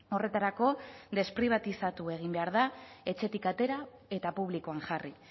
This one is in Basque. horretarako despribatizatu egin behar da etxetik atera eta publikoan jarri